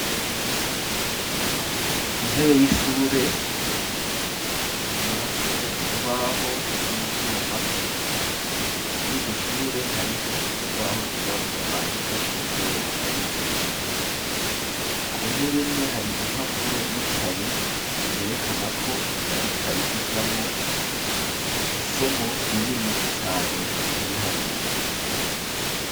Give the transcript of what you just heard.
Intebe y'ishure yubatswe mu rubaho n'ivyuma, muriryo shure hariho urubaho rwirabura bandikako iyo bariko barigisha, ku ntebe imwe hari impapuro n'ikaye yerekana ko arikaye ijamwo isomo rinini cane nk'ibiharuro